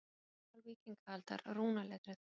Ritmál víkingaaldar, rúnaletrið.